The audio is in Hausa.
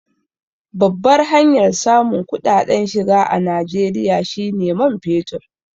Babbar hanyar samun kuɗaɗen shiga a Najeriya shi ne man fetur.